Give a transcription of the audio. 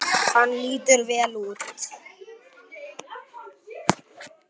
Hann lítur vel út.